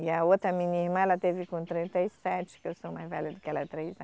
E a outra minha irmã, ela teve com trinta e sete, que eu sou mais velha do que ela, três